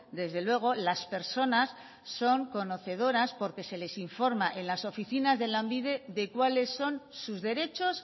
desde luego las personas son conocedoras porque se les informa en las oficinas de lanbide de cuáles son sus derechos